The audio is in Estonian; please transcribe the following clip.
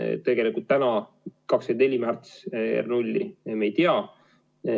Tegelikult täna me 24. märtsi R0 ei tea.